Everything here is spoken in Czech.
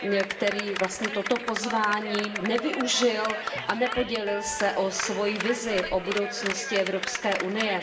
který vlastně toto pozvání nevyužil a nepodělil se o svoji vizi o budoucnosti Evropské unie.